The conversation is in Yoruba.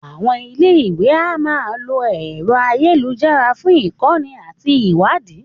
Àwọn ilé ìwé a máa lo ẹ̀rọ ayélujára fún ìkọ́ni àti ìwádìí